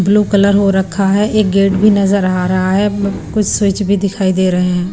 Blue colour हो रखा है एक गेट भी नजर आ रहा है कुछ स्विच भी दिखाई दे रहे हैं।